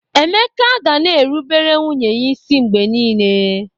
Emeka ga na-erubere nwunye ya isi mgbe niile.